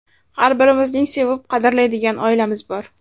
Har birimizning sevib, qadrlaydigan oilamiz bor.